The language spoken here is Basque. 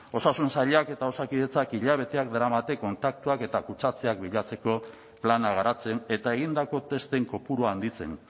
osasun sailak eta osakitdetzak hilabeteak daramate kontaktuak eta kutsatzeak bilatzeko plana garatzen eta egindako testen kopurua handitzen